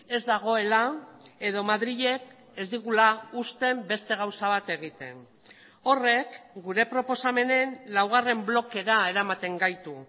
ez dagoela edo madrilek ez digula uzten beste gauza bat egiten horrek gure proposamenen laugarren blokera eramaten gaitu